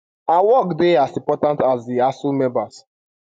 our work dey as important as di asuu members